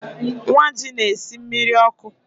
Nwaji na-esi mmiri ọkụ